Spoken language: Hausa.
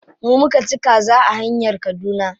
Mu muka ci kaza a hanyar kaduna.